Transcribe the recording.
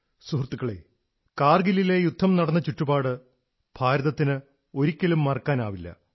സുഹൃത്തുക്കളേ കാർഗിലിലെ യുദ്ധം നടന്ന ചുറ്റുപാട് ഭാരതത്തിന് ഒരിക്കലും മറക്കാനാവില്ല